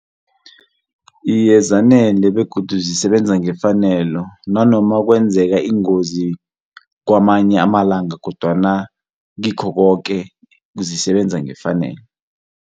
Iye, zanele begodu zisebenza ngefaneleko nanoma kwenzeka ingozi kwamanye amalanga kodwana kikho koke zisebenza ngefanelo.